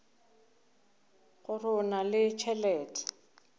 gore o na le tšhelete